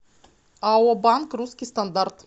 ао банк русский стандарт